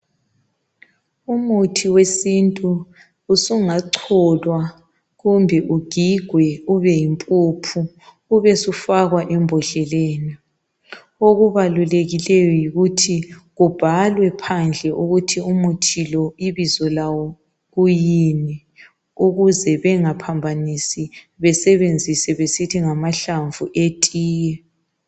Umuthi wesintu usungacholwa kumbe ugigwe ube yimpuphu ube usufakwa embodleleni okubalulekileyo yikuthi kubhalwe phandle ukuthi umuthi lo ibizo lawo kuyini ukuze bengaphambanisi besebenzise besithi ngamahlamvu etiye.